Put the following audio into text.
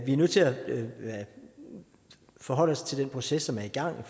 vi er nødt til at forholde os til den proces som er i gang